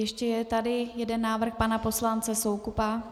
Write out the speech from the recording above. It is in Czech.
Ještě je tady jeden návrh pana poslance Soukupa.